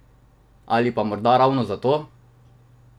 Ali pa morda ravno zato!